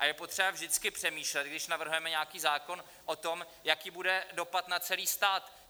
A je potřeba vždycky přemýšlet, když navrhujeme nějaký zákon o tom, jaký bude dopad na celý stát.